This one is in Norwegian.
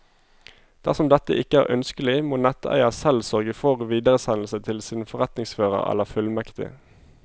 Dersom dette ikke er ønskelig, må netteier selv sørge for videresendelse til sin forretningsfører eller fullmektig.